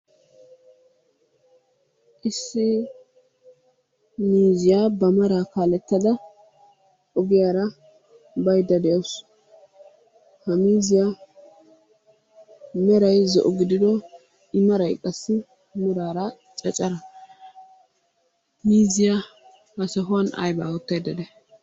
Issi miizziya ba maraa kaalettada ogiyaara bayidda de'awusu. Ha miizziya meray zo'o gidido imaray qassi meraara caccara. Miizziya ha sohuwan ayibaa oottayidda day?